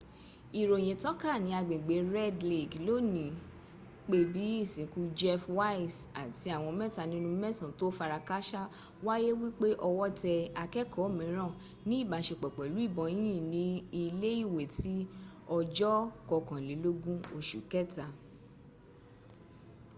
ìròyìn tàn ká ní agbègbè red lake lónìí pé bí ìsìnkú jeff weise àti àwọn mẹta nínú mẹsan tó farakásá wáyé wípé ọwọ́ tẹ akẹ́kọ̀ọ́ míràn ní ìbáṣepọ̀ pẹ̀lú ìbọn yínyìn ní ilé ìwé ti ọjọ̀ kankọkànlélógún oṣù kẹta